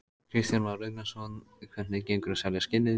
Kristján Már Unnarsson: Hvernig gengur að selja skinnin?